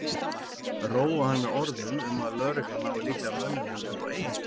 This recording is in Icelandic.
Róa hann með orðum um að lögreglan nái líklega mönnunum upp á eigin spýtur.